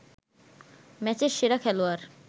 ম্যাচের সেরা খেলোয়াড়